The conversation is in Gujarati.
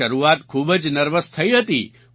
શરૂઆત ખૂબ જ નર્વસ થઈ હતી